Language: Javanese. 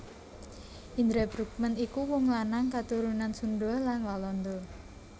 Indra Bruggman iku wong lanang katurunan Sunda lan Walanda